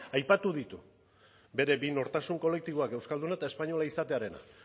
aipatu ditu bere bi nortasun kolektiboak euskalduna eta espainola izatearena